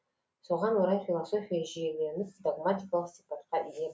соған орай философия жүйеленіп догматикалық сипатқа ие